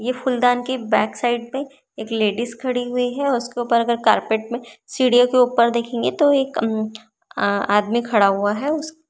यह फूलदान की बॅक साइड पे एक लेडिस खड़ी हुई है और उसके ऊपर अगर कारपेट में सीडीओ के ऊपर देखेंगे तो एक अम्म आ आदमी खड़ा हुआ है।